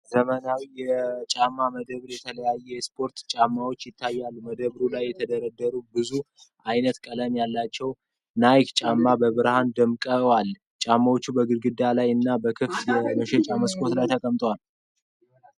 ዘመናዊ የጫማ መደብር የተለያዩ የስፖርት ጫማዎችን አሳይቷል። በመደርደሪያዎች ላይ የተደረደሩ ብዙ አይነትና ቀለም ያላቸው ናይክ ጫማዎች በብርሃን ደምቀዋል። ጫማዎቹ በግድግዳ ላይ እና በክፍት የሽያጭ መስኮቶች ላይ ተቀምጠዋል።